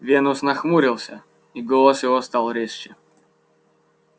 венус нахмурился и голос его стал резче